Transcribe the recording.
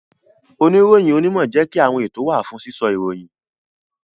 Oniroyin onimo jẹ́ kí àwọn ètò wa fún sísọ ìròyìn